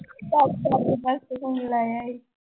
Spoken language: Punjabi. phone ਲਾਇਆ ਸੀ।